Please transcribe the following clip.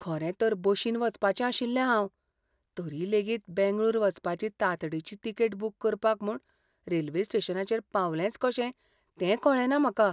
खरें तर बशीन वचपाचें आशिल्लें हांव. तरी लेगीत बेंगळूर वचपाची तांतडीची तिकेट बूक करपाक म्हूण रेल्वे स्टेशनाचेर पावलेंच कशें तें कळ्ळेंना म्हाका.